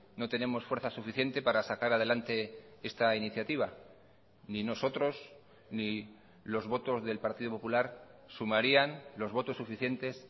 no tenemos fuerza suficiente para sacar adelante esta iniciativa ni nosotros ni los votos del partido popular sumarían los votos suficientes